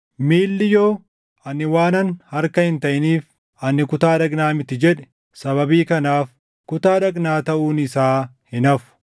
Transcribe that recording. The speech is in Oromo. Miilli yoo, “Ani waanan harka hin taʼiniif, ani kutaa dhagnaa mitii” jedhe, sababii kanaaf kutaa dhagnaa taʼuun isaa hin hafu.